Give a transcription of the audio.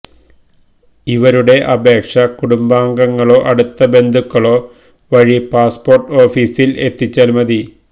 ഇവരുടെ അപേക്ഷ കുടുംബാംഗങ്ങളോ അടുത്ത ബന്ധുക്കളോ വഴി പാസ്പോർട്ട് ഓഫിസിൽ എത്തിച്ചാൽ മതി